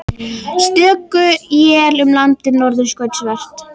Stöku él um landið norðaustanvert